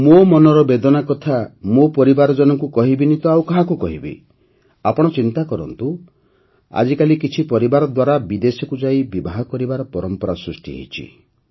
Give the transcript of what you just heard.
ମୋ ମନର ବେଦନା କଥା ମୋ ପରିବାରଜନଙ୍କୁ କହିବିନି ତ ଆଉ କାହାକୁ କହିବି ଆପଣ ଚିନ୍ତା କରନ୍ତୁ ଆଜିକାଲି କିଛି ପରିବାର ଦ୍ୱାରା ବିଦେଶକୁ ଯାଇ ବିବାହ କରିବାର ପରମ୍ପରା ସୃଷ୍ଟି ହୋଇଚାଲିଛି